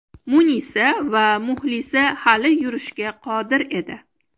Munisa va Muxlisa hali yurishga qodir edi.